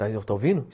Está ouvindo?